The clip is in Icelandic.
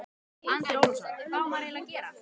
Andri Ólafsson: Hvað á maður eiginlega að gera?